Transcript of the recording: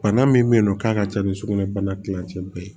Bana min bɛ yen nɔ k'a ka ca ni sugunɛ bana kilancɛ bɛɛ ye